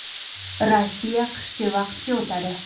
Rossiya qishki vaqtga o‘tadi.